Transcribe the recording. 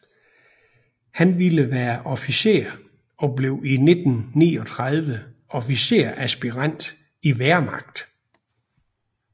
Han ville være officer og blev i 1939 officersaspirant i Wehrmacht